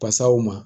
Pasaw ma